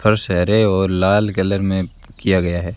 फर्श हरे और लाल कलर में किया गया है।